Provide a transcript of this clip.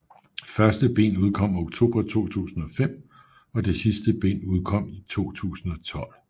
Første bind udkom oktober 2005 og det sidste bind udkom i 2012